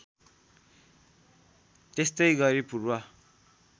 त्यस्तै गरी पूर्व